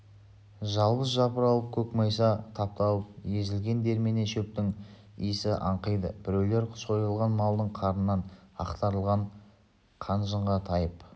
жалбыз жапырылып көкмайса тапталып езілген дермене шөптің исі аңқиды біреулер сойылған малдың қарнынан ақтарылған қан-жынға тайып